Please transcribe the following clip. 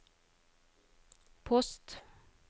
post